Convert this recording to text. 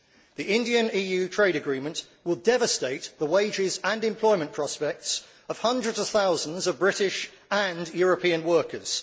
The India EU trade agreement will devastate the wages and employment prospects of hundreds of thousands of British and European workers.